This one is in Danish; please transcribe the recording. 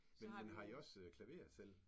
Men men har I også klaver til?